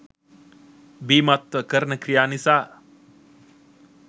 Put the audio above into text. බීමත්ව කරන ක්‍රියා නිසා